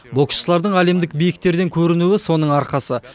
боксшылардың әлемдік биіктерден көрінуі соның арқасы